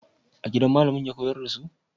A gida malamin ya koyar da su?